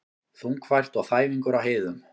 Þungfært og þæfingur á heiðum